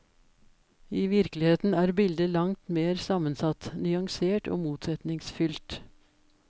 I virkeligheten er bildet langt mer sammensatt, nyansert og motsetningsfylt.